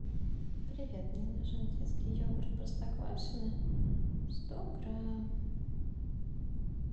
привет мне нужен детский йогурт простоквашино сто грамм